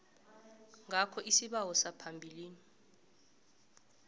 ngakho isibawo phambilini